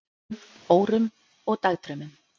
um, órum og dagdraumum.